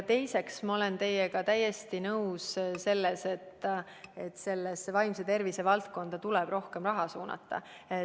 Teiseks, ma olen teiega täiesti nõus, et vaimse tervise valdkonda tuleb rohkem raha suunata.